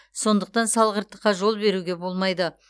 сондықтан салғырттыққа жол беруге болмайды